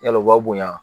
Yala u b'a bonya